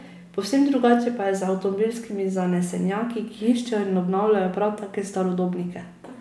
Povsem drugače pa je z avtomobilskimi zanesenjaki, ki iščejo in obnavljajo prav take starodobnike.